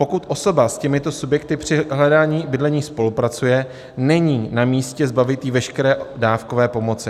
Pokud osoba s těmito subjekty při hledání bydlení spolupracuje, není namístě zbavit ji veškeré dávkové pomoci."